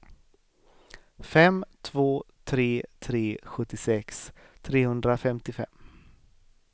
fem två tre tre sjuttiosex trehundrafemtiofem